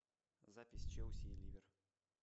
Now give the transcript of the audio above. запись челси и ливер